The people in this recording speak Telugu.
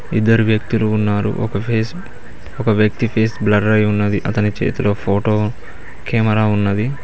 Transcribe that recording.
ఇద్దరు వ్యక్తులు ఉన్నారు ఒక ఫేస్ ఒక వ్యక్తి ఫేస్ బ్లర్ అయి ఉన్నది అతని చేతిలో ఫోటో కెమెరా ఉన్నది.